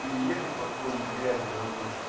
переехать по какой-нибудь грязи